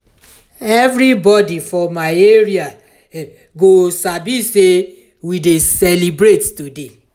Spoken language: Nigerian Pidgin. everybody for my area go sabi say we dey celebrate today.